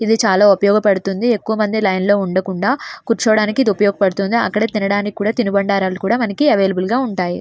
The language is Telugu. ఇది చాలా ఎక్కువగా ఉపయోగపడుతుంది. ఎక్కువ మంది లైన్ లోనే ఉండకుండా కూర్చోడానికి ఉపయోగపడుతుంది. అక్కడ తినడానికి తిను బండారాలు కూడా మనకు అవైలబుల్ గా ఉంటాయి.